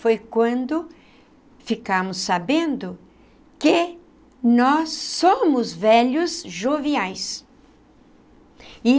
Foi quando ficamos sabendo que nós somos velhos joviais e.